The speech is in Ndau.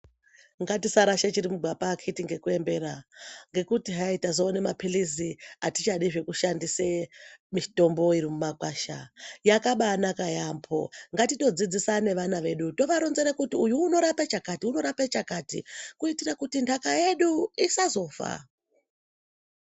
Ngatisarashe chirimugwapa akiti ngekuembera ngekuti hayi tazowone ma pilizi hatichadi zvejushandise mitombo irimumakwasha, yakaba nanaka yambo ngatitodzidzisa nevana vedu tovaronzera kuti uyu unorape chakati uyu unorape chakati kuitire kuti ndaka yedu isazofa.